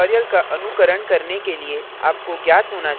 इस tutorial का अनुकरण करने के लिए आपको ज्ञात होना चाहिए